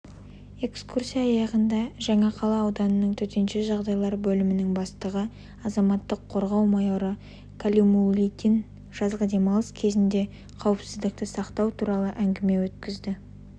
экскурсия аяғында жаңақала ауданының төтенше жағдайлар бөлімінің бастығы азаматтық қорғау майоры калимулдин жазғы демалыс кезінде қауіпсіздікті сақтау туралы әңгіме өткізді